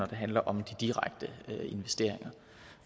det handler om de direkte investeringer